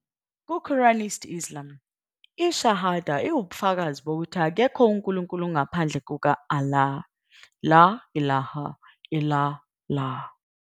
Ku- Quranist Islam, i-shahada iwubufakazi bokuthi akekho unkulunkulu ngaphandle kuka- Allah, "la ilaha illa'llah".